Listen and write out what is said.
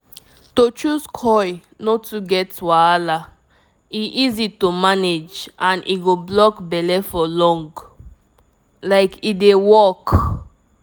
to choose coil no too get wahala — e easy to manage and e go block belle for long like e dey work!